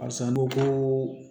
Barisa n ko ko